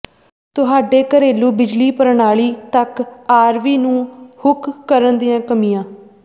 ਤੁਹਾਡੇ ਘਰੇਲੂ ਬਿਜਲੀ ਪ੍ਰਣਾਲੀ ਤਕ ਆਰਵੀ ਨੂੰ ਹੁੱਕ ਕਰਨ ਦੀਆਂ ਕਮੀਆਂ